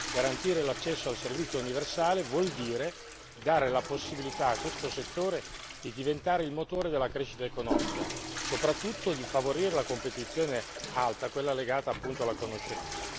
Garantire l'accesso al servizio universale vuol dire dare la possibilità a questo settore di diventare il motore della crescita economica, soprattutto di favorire la competizione alta, quella legata appunto alla conoscenza.